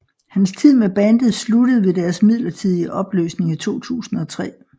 Hans tid med bandet sluttede ved deres midlertidige opløsning i 2003